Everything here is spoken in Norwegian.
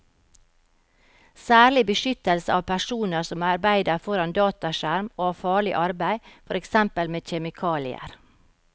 Særlig beskyttelse av personer som arbeider foran dataskjerm og av farlig arbeid, for eksempel med kjemikalier.